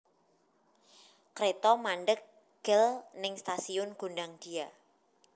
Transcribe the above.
Kreto mandheg gel ning stasiun Gondangdia